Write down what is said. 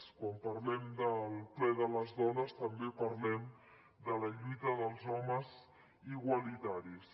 quan parlem del ple de les dones també parlem de la lluita dels homes igualitaris